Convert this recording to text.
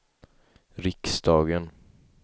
riksdagen